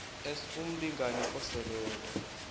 s umlingani oseleko